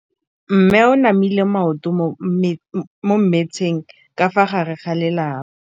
Mme o namile maoto mo mmetseng ka fa gare ga lelapa le ditsala tsa gagwe.